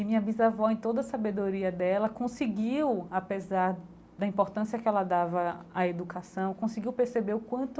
E minha bisavó, em toda a sabedoria dela, conseguiu, apesar da importância que ela dava a educação, conseguiu perceber o quanto